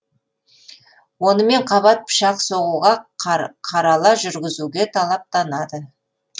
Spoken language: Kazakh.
онымен қабат пышақ соғуға қарала жүргізуге талаптанады